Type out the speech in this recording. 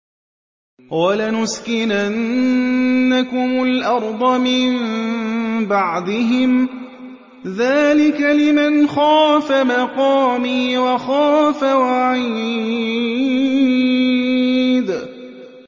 وَلَنُسْكِنَنَّكُمُ الْأَرْضَ مِن بَعْدِهِمْ ۚ ذَٰلِكَ لِمَنْ خَافَ مَقَامِي وَخَافَ وَعِيدِ